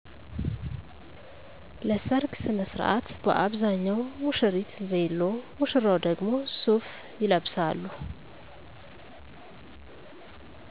ለሰርግ ሥነሥርዓት በአብዛኛው ሙሽሪት ቬሎ ሙሽራው ደግሞ ሱፍ ይለብሳሉ